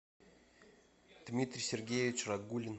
дмитрий сергеевич рагулин